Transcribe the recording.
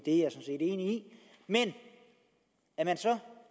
men det er et